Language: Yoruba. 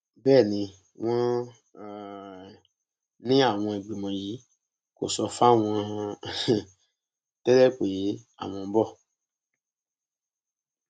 bẹẹ ni wọn um ní àwọn ìgbìmọ yìí kò sọ fáwọn um tẹlẹ pé àwọn ń bọ